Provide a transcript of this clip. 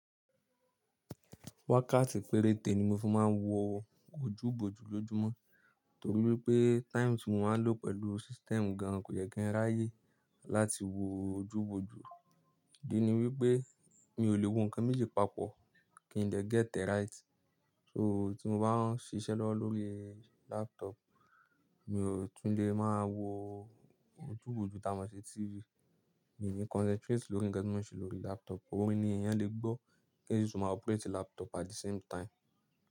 Wákàtí péréte ni mo fi máa ń wo ojúbójú lójúmọ́, torí wípé times ti mo máa ń lò pẹ̀lú system gan kò yẹ kí ń ráyè láti wo ojúbójú. Idi ní wípé mi ò lè wo nǹkan méjì papọ̀ kí n dè get e right. So tí mo bá ń ṣiṣẹ́ lọ́wọ́lọ́wọ́ lórí laptop, mi ò tún lè máa wo ojúbójú támo ṣi TV. Mi ni concentrate lórí nǹkan tí mo ṣe lórí laptop, orín ni èèyàn lè gbọ́ kí eyan ṣi tun máa operate laptop at the same time.